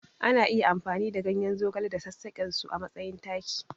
Ana iya amfani da ganyen zogale da sassaƙensu a matsayin taki.